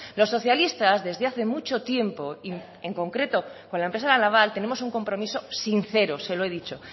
los socialistas desde hace mucho tiempo en concreto con la empresa la naval tenemos un compromiso sincero se lo he dicho